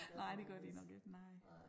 Nej det gør de nok ikke nej